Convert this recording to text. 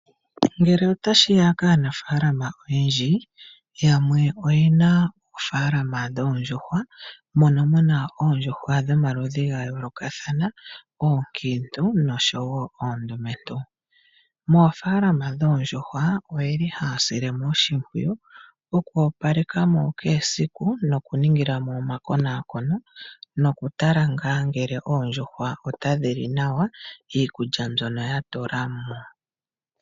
Ngele otashi ya kaanafalama oyendji, yamwe oye na oofalama dhoo ndjuhwa, mono mu na oondjuhwa dho maludhi ga yoolokahana ,oonkintu nosho wo oondumentu. Moofaalama dhoo ndjuhwa, oye li haa sile mo oshmpwiyu oku opaleka mo kehe esiku, noku ningila mo omakonakono, noku tala ngaa ngele oodjuhwa ota dhi li nawa iikudja mbyono ya tula mo.